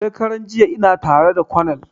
Shekaran jiya ina tara da konel